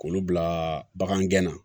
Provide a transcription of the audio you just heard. K'olu bila bagan gɛn na